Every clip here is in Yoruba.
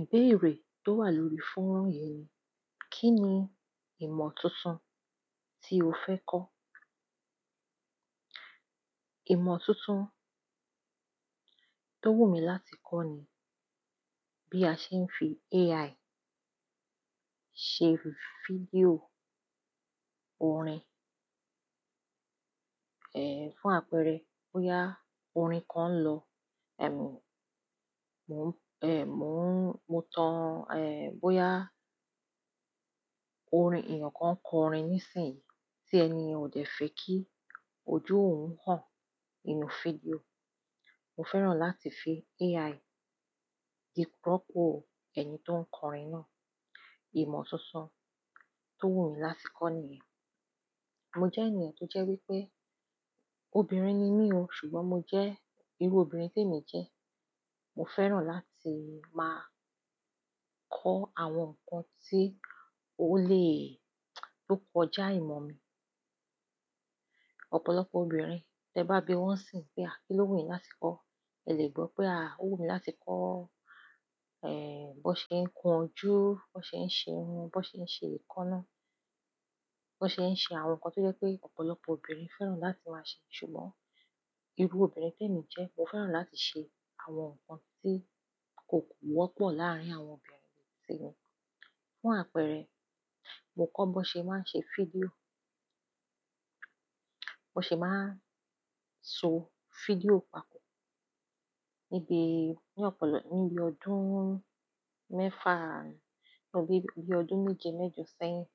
Ìbéèrè tó wà lórí fónrán yìí ni, kí ni ìmọ̀ tuntun tí o fẹ́ kọ́? Ìmọ̀ tuntun tó wù mí láti kọ́ ni bí a ṣe ń fi AI ṣe fídíò orin. Ehn, fún àpẹẹrẹ, bóyá orin kan ń lọ, ehmi, mo n, eh mo n, mo tan, ehn bóyá orin, èeyàn kan kọ orin nísìnyí tí ẹni yen o jẹ̀ fe kí ojú òun hán inú fídíò, mo fẹ́ràn láti fi AI di ropọ̀ ẹni tó ń kọrin náà. Ìmọ̀ tuntun tó wù mí láti kọ́ nìyẹn. Mo jẹ́ ènìyàn tó jẹ́ wípé obìnrin ni mí o, ṣùgbọ́n mo jẹ́, irú obìnrin tí èmi jẹ́. Mo fẹ́ràn láti máa kọ́ àwọn nǹkan tí ó lè, to kọ̀ já ìmọ̀ mi. Ọ̀pọ̀lọpọ̀ obìnrin tẹ bá bi wọ́n sìń pé à kí ló wù mí láti kọ́, ẹ lè gbọ́ pé à kó wù mí láti kọ́, ehn bó ṣe ń kun jú, bó ṣe ń ṣe runn, bó ṣe ń ṣe ekanáà, bó ṣe ń ṣe àwọn nǹkan tí ó jẹ́ pé ọ̀pọ̀lọpọ̀ obìnrin fẹ́ràn láti máa ṣe. Ṣùgbọ́n irú obìnrin tí èmi jẹ́, mo fẹ́ràn láti ṣe àwọn nǹkan tí kò wọ́pọ̀ láàrin àwọn obìnrin tí mi. Fún àpẹẹrẹ, mo kọ́ bó ṣe máa ń ṣe fídíò, bó ṣe máa ń so fídíò papọ̀. Níbi, ní ọ̀pọ̀lọp-- ní bí ọdún mẹ́fà, ní bí ọdún méje mẹ́jọ sẹ́yìn,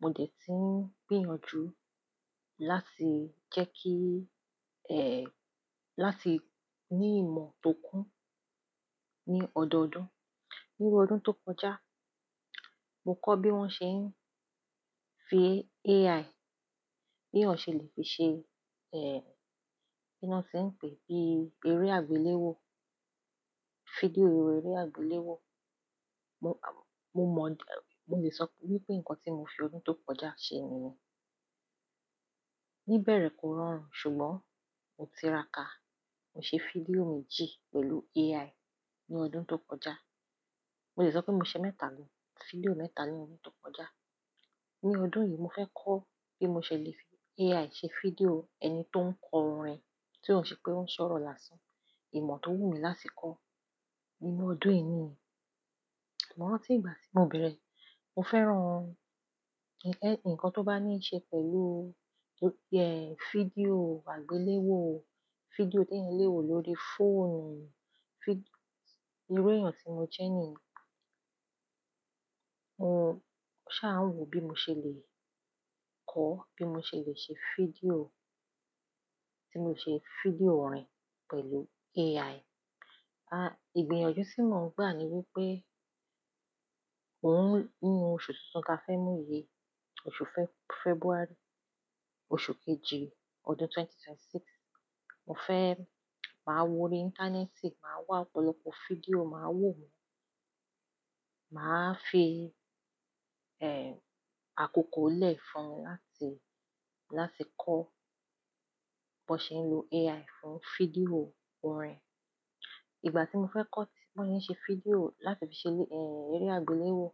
mo dẹ̀ tí ń gbìyànjú láti jẹ́ kí, eh, láti ní ìmọ̀ tó kún ní ọdọọdún. Níbi ọdún tó kọjá, mo kọ́ bí wón ṣe ń fi AI, bí ọ̀ṣẹ̀ lè fi ṣe, eh, kí lo ti n pè é bí eré àgbéléwò, fídíò eré àgbéléwò. Mo mọ, mo lè sọ wípé nǹkan tí mo fi ọdún tó kọjá ṣe nìyẹn. Ní bẹ̀rẹ̀ kó rọrùn, ṣùgbọ́n mo tira ka. Mo ṣe fídíò méjì pẹ̀lú AI ní ọdún tó kọjá. Mo lè sọ pé mo ṣe mẹ́tà, fídíò mẹ́tà ní ọdún tó kọjá. Ní ọdún yìí mo fẹ́ kọ́ bí mo ṣe lè fi AI ṣe fídíò ẹni tó ń kọ orin tí ó ṣe pé ó ń sọ̀rọ̀ lásán. Ìmọ̀ tó wù mí láti kọ́ nínú ọdún yìí ni. Mo rántí ìgbà tí mo bẹ̀rẹ̀, mo fẹ́ràn ǹkan tó bá ní í ṣe pẹ̀lú, eh, fídíò àgbéléwò, fídíò tí ẹeyan lé wò lórí fóònù, fíd-- iru eeyàn tí mo jẹ́ ni. Mo sá à wò bí mo ṣe lè kọ́, bí mo ṣe lè ṣe fídíò, tí mo ṣe fídíò orin pẹ̀lú AI. A, ìgbìyànjú tí mo ń gbà ni wípé òún, ní oṣù tuntun ta fẹ́ mú yii, oṣù Feb-February, oṣù kejì ọdún 2026, mo fẹ́ máa wo ori íńtánẹ́ẹ̀tì, màá wá ọ̀pọ̀lọpọ̀ fídíò, màá wò wọ́n. Màá fi, ehn, àkókò lẹ́ fún un láti, láti kọ́ bó ṣe ń lo AI fún fídíò orin. Ìgbà tí mo fẹ́ kọ́ tí, bó ṣe ń ṣe fídíò láti fi ṣe lé, eh, eré àgbéléwò,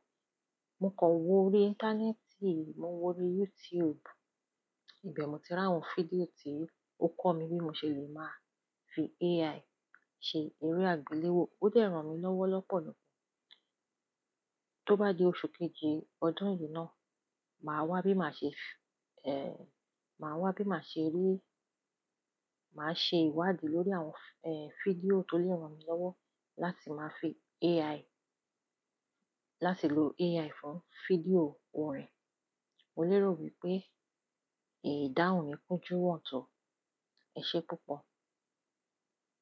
mo kàn wo ori íńtánẹ́ẹ̀tì, mo wo ori YouTube. Ìbẹ̀ mi ti ri awon fídíò tí ó kọ́ mi bí mo ṣe lè máa fi AI ṣe eré àgbéléwò. Ó dẹ̀ ran mi lọ́wọ́ lọ́pọ̀ ni. Tó bá di oṣù kejì ọdún yìí náà, màá wá bí màá ṣe fi, ehn, màá wá bí màá ṣe rí, màá ṣe ìwádìí lórí àwọn, ehn, fídíò tó lè ran mi lọ́wọ́ láti máa fi AI, láti lo AI fún fídíò orin. Mo lérò wípé ìdáhùn yí kún júwọ̀n tó. Ẹ ṣé púpọ̀.